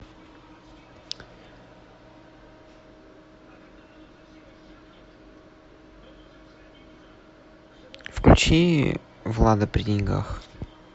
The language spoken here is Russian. включи влада при деньгах